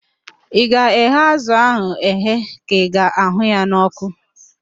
Ị ga-eghe azụ ahụ eghe ka ị ga-ahụ ya n'ọkụ?